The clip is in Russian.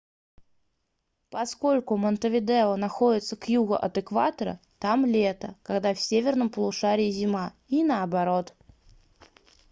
поскольку монтевидео находится к югу от экватора там лето когда в северном полушарии зима и наоборот